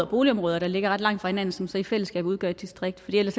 boligområder der ligger ret langt fra hinanden som så i fællesskab udgør et distrikt for ellers